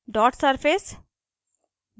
dot surface